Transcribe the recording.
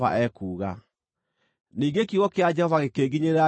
Ningĩ kiugo kĩa Jehova gĩkĩnginyĩrĩra, ngĩĩrwo atĩrĩ,